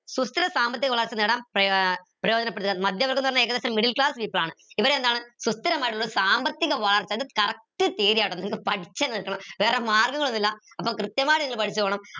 സാമ്പത്തിക വളർച്ച നേടാം ഏർ മധ്യവർഗം ന്ന് പറഞ്ഞ ഏകദേശം middle class people ആണ് ഇവരെ എന്താണ് സാമ്പത്തിക വാർത്ത correct വേറെ മാർഗങ്ങൾ ഒന്നില്ല അപ്പൊ കൃത്യമായിട്ട് നിങ്ങൾ പഠിച്ച് പോണം